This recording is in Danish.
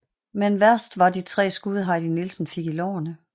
Men værst var de tre skud Heidi Nielsen fik i lårene